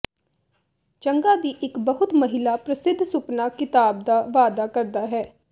ਚੰਗਾ ਦੀ ਇੱਕ ਬਹੁਤ ਮਹਿਲਾ ਪ੍ਰਸਿੱਧ ਸੁਪਨਾ ਕਿਤਾਬ ਦਾ ਵਾਅਦਾ ਕਰਦਾ ਹੈ